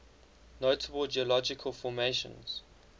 notable geological formations